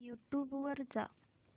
YouTube वर जा